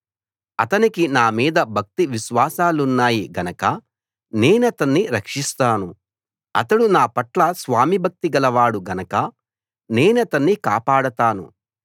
అతనికి నా మీద భక్తి విశ్వాసాలున్నాయి గనక నేనతన్ని రక్షిస్తాను అతడు నా పట్ల స్వామిభక్తి గలవాడు గనక నేనతన్ని కాపాడతాను